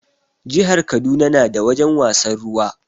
Jihar Kaduna na da wajen wasan ruwa